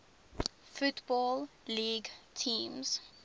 football league teams